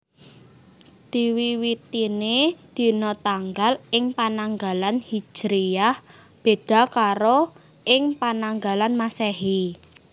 Diwiwitiné dina tanggal ing Pananggalan Hijriyah béda karo ing Pananggalan Masèhi